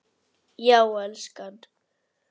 Já, elskan.